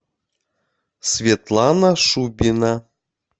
светлана шубина